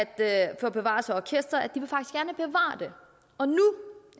af orkestret bevare det og nu